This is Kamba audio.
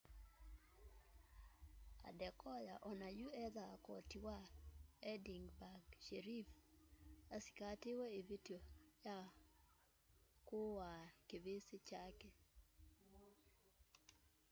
adekoya onayũ ethaa koti wa edinburgh sheriff asĩkatĩwe ĩvĩtyo ya kũũa kĩvĩsĩ kyake